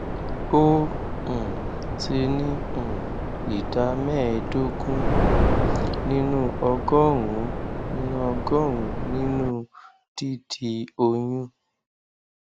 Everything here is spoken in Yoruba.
ó um ti ní um ìdá mẹẹẹdógún um nínú ọgọrùnún nínú ọgọrùnún nínú dídi oyún